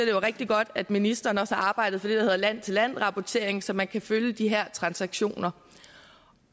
er rigtig godt at ministeren også arbejder der hedder land til land rapportering så man kan følge de her transaktioner